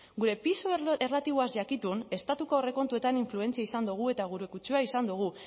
gure pisu erlatiboaz jakitun estatuko aurrekontuetan influentzia izan dugu eta gure kutsua izan dugu